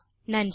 நன்றி